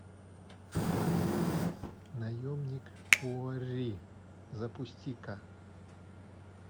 наемник куорри запусти ка